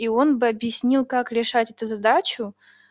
и он бы объяснил как решать эту задачу